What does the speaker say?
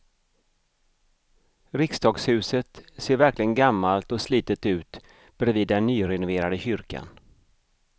Riksdagshuset ser verkligen gammalt och slitet ut bredvid den nyrenoverade kyrkan.